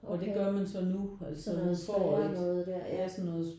Okay sådan noget spærre noget der ja